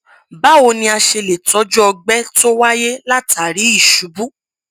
báwo ni a ṣe lè tọjú ọgbẹ tó wáyé látàri ìṣubú